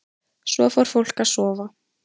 Svo fór fólk að sofa.